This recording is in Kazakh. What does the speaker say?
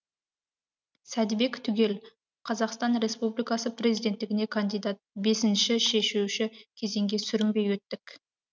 сәдібек түгел қазақстан республикасы президенттігіне кандидат бесінші шешуші кезеңге сүрінбей өттік